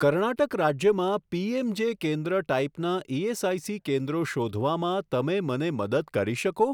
કર્ણાટક રાજ્યમાં પીએમજે કેન્દ્ર ટાઈપનાં ઇએસઆઇસી કેન્દ્રો શોધવામાં તમે મને મદદ કરી શકો?